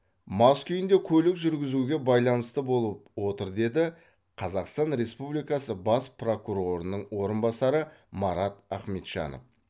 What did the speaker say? мас күйінде көлік жүргізуге байланысты болып отыр деді қазақстан республикасы бас прокурорының орынбасары марат ахметжанов